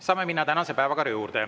Saame minna tänase päevakorra juurde.